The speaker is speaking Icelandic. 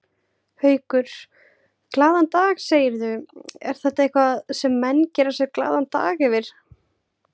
Haukur: Glaðan dag segirðu, er þetta eitthvað sem menn gera sér glaðan dag yfir?